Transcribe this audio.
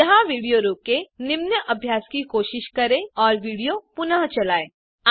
यहाँ विडियो रोकें निम्न अभ्यास की कोशिश करें और विडियो पुनः चलायें